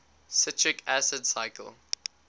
citric acid cycle